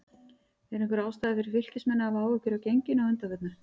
Er einhver ástæða fyrir Fylkismenn að hafa áhyggjur af genginu að undanförnu?